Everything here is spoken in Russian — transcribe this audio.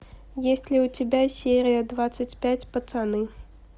есть ли у тебя серия двадцать пять пацаны